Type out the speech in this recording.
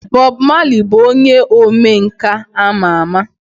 Bob Marley bụ onye omenkà ama ama.